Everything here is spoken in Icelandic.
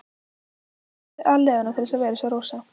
Hún hefði gefið aleiguna til að vera eins og Rósa.